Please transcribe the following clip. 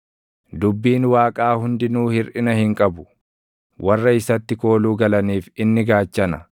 “Dubbiin Waaqaa hundinuu hirʼina hin qabu; warra isatti kooluu galaniif, inni gaachana.